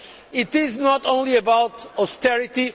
This is not only about austerity.